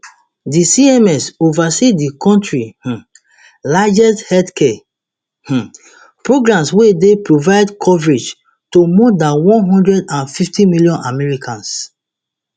di cms oversee di kontri um largest healthcare um programs wey dey provide coverage to more dan one hundred and fifty million americans